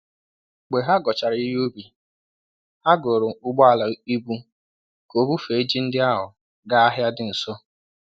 Mgbe ha ghọchara ihe ubi, ha goro ụgbọala ibu ka o bufee ji ndị ahụ gaa ahịa dị nso.